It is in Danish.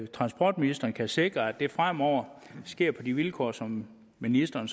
transportministeren kan sikre at det fremover sker på de vilkår som ministeren